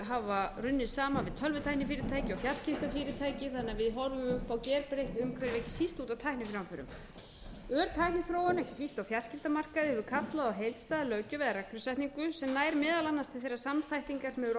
hafa runnið saman við tölvutæknifyrirtæki og fjarskiptafyrirtæki þannig að við horfum upp á gerbreytt umhverfi allt út af tækniframförum tækniþróun ekki síst á fjarskiptamarkaði hefur kallað á heildstæða löggjöf eða reglusetningu sem nær meðal annars til þeirra samþættingar sem hefur orðið á